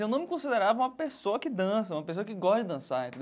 Eu não me considerava uma pessoa que dança, uma pessoa que gosta de dançar.